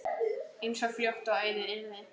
eins fljótt og auðið yrði.